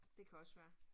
Det kan også være